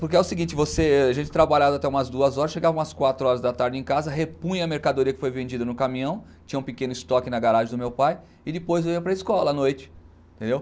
Porque é o seguinte, você a gente trabalhava até umas duas horas, chegava umas quatro horas da tarde em casa, repunha a mercadoria que foi vendida no caminhão, tinha um pequeno estoque na garagem do meu pai e depois eu ia para a escola à noite, entendeu?